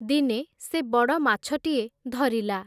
ଦିନେ ସେ ବଡ଼ମାଛଟିଏ ଧରିଲା ।